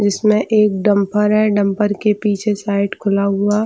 इसमें एक डम्फर है डम्फर के पीछे साइड खुला हुआ--